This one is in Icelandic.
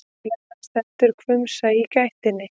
Boðflennan stendur hvumsa í gættinni.